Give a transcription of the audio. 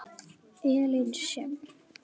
Elín Sjöfn.